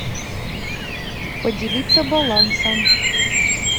поделиться балансом